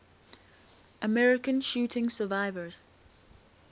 american shooting survivors